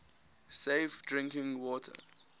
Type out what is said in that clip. safe drinking water